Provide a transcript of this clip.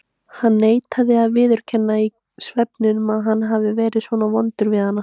Hann neitaði að viðurkenna í svefninum að hann hefði verið svona vondur við hana.